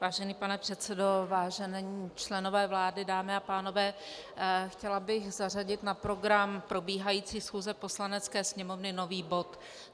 Vážený pane předsedo, vážení členové vlády, dámy a pánové, chtěla bych zařadit na program probíhající schůze Poslanecké sněmovny nový bod.